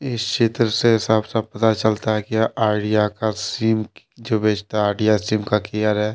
इस चित्र से साफ साफ पता चलता है कि आईडिया का सिम जो बेचता है आइडिया सिम का केयर है।